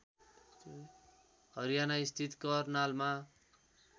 हरियाना स्थित करनालमा